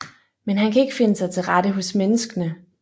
Men han kan ikke finde sig til rette hos menneskene